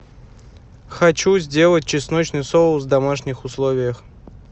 хочу сделать чесночный соус в домашних условиях